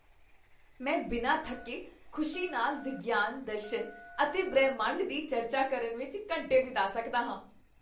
ਮੈਂ ਬਿਨਾਂ ਥੱਕੇ ਖੁਸ਼ੀ ਨਾਲ ਵਿਗਿਆਨ, ਦਰਸ਼ਨ ਅਤੇ ਬ੍ਰਹਿਮੰਡ ਦੀ ਚਰਚਾ ਕਰਨ ਵਿੱਚ ਘੰਟੇ ਬਿਤਾ ਸਕਦਾ ਹਾਂ।